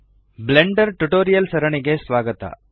Blender tutorial ಸರಣಿಗೆ ಸ್ವಾಗತ